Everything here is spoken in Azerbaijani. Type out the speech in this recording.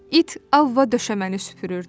İt Avva döşəməni süpürürdü.